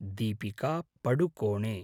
Deepika Padukone